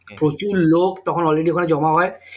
প্রচুর লোক তখন already ওখানে জমা হয়